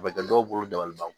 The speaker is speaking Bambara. A bɛ kɛ dɔw bolo dabaliban